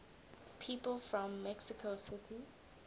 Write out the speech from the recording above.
people from mexico city